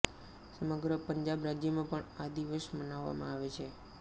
સમગ્ર પંજાબ રાજ્યમાં પણ આ દિવસ મનાવવામાં આવે છે